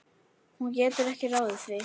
Hún getur ekki ráðið því.